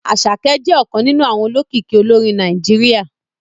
Àṣàkẹ́ jẹ́ ọ̀kan nínú àwọn olókìkí olórin Nàìjíríà